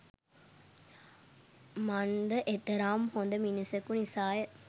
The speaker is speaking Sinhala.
මන්ද එතරම් හොද මිනිසකු නිසාය